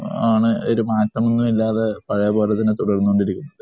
ആണ് ഒരു മാറ്റമൊന്നുമില്ലാതെ തുടർന്ന് കൊണ്ടിരിക്കുന്നത്.